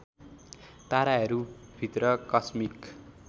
ताराहरू भित्र कस्मिक